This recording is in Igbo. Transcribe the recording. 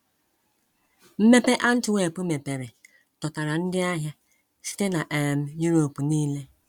Mmepe Antwerp mepere dọtara ndị ahịa site na um Europe nile.